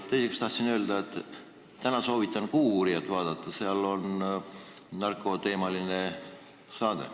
Teiseks tahtsin öelda, et täna soovitan "Kuuuurijat" vaadata, see on narkoteemaline saade.